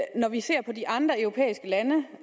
når vi ser på de andre europæiske lande